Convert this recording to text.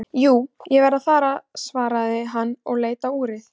Jú, ég verð að fara svaraði hann og leit á úrið.